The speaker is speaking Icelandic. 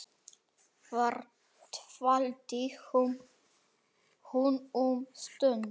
Þar dvaldi hún um stund.